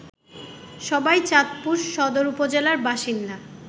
সবাই চাঁদপুর সদর উপজেলার বাসিন্দা